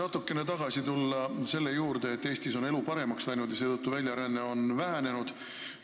Ma tahan tagasi tulla selle juurde, et Eestis on elu paremaks läinud ja seetõttu on väljaränne vähenenud.